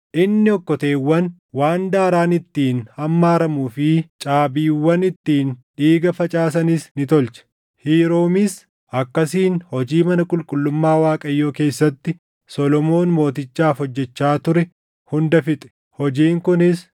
Inni okkoteewwan, waan daaraan ittiin hammaaramuu fi caabiiwwan ittiin dhiiga facaasanis ni tolche. Hiiroomis akkasiin hojii mana qulqullummaa Waaqayyoo keessatti Solomoon mootichaaf hojjechaa ture hunda fixe; hojiin kunis: